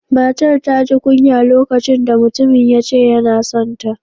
Matar ta ji kunya lokacin da mutumin ya ce yana son ta